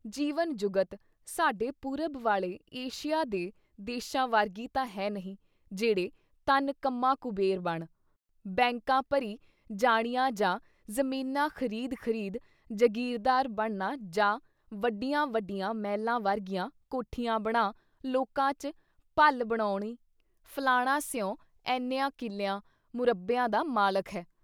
ਜੀਵਨ ਜੁਗਤ, ਸਾਡੇ ਪੂਰਬ ਵਾਲੇ ਏਸ਼ੀਆ ਦੇ ਦੇਸ਼ਾਂ ਵਰਗੀ ਤਾਂ ਹੈ ਨਹੀਂ, ਜੇਹੜੇ ਧਨ ਕਮਾ ਕੁਬੇਰ ਬਣ, ਬੈਂਕਾਂ ਭਰੀ ਜਾਣੀਆਂ ਜਾਂ ਜ਼ਮੀਨਾਂ ਖਰੀਦ ਖਰੀਦ ਜਗੀਰਦਾਰ ਬਣਨਾ ਜਾਂ ਵੱਡੀਆਂ ਵੱਡੀਆਂ ਮਹਿਲਾਂ ਵਰਗੀਆਂ ਕੋਠੀਆਂ ਬਣਾ, ਲੋਕਾਂ ‘ਚ ਭੱਲ ਬਣਾਉਣੀ “ਫਲਾਨਾ ਸਹੁੰ ਐਨਿਆਂ ਕਿੱਲਿਆਂ, ਮੁਰੱਬਿਆਂ ਦਾ ਮਾਲਿਕ ਹੈ।”